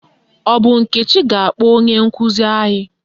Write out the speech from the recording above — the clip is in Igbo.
Ọ bụ Nkechi ga-akpọ onye nkụzi anyị?